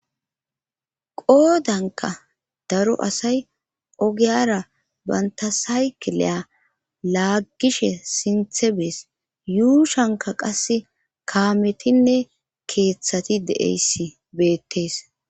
Qoodanka daro asay ogiyara banta saykeleya laaggishe sinthe bees yuushanka qasse kaametinne keeththati deeyss beettees.